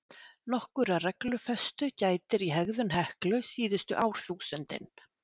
Nokkurrar reglufestu gætir í hegðun Heklu síðustu árþúsundin.